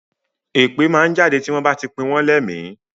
Èpè máa ń jáde tí wọ́n bá ti pìn wọ́n lẹ́mi